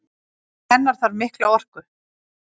Til hennar þarf mikla orku.